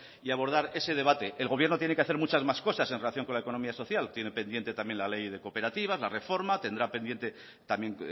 y abordar ese debate el gobierno tiene que hacer muchas más cosas en relación con la economía social tiene pendiente también la ley de cooperativas la reforma tendrá pendiente también